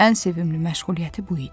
Ən sevimli məşğuliyyəti bu idi.